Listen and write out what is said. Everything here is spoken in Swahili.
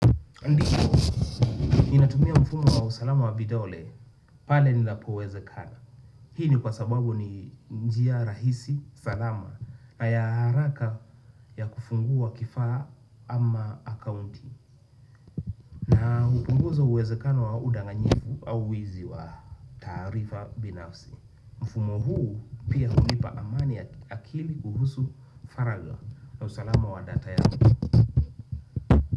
Ndiyo, ninatumia mfumo wa usalama wa vidole, pale ninapo wezekana. Hii ni kwa sababu ni njia rahisi, salama, na ya haraka ya kufungua kifaa ama akaunti. Napunguza uwezekano wa udanganyifu au wizi wa taarifa binafsi. Mfumo huu pia hulipa amani ya akili kuhusu faragha. Na usalama wa data ya.